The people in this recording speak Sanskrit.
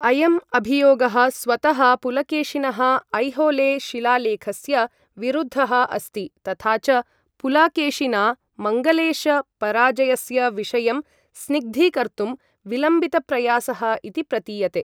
अयम् अभियोगः स्वतः पुलकेशिनः ऐहोले शिलालेखस्य विरुद्धः अस्ति, तथा च पुलाकेशिना मङ्गलेश पराजयस्य विषयं स्निग्धीकर्तुं विलम्बितप्रयासः इति प्रतीयते।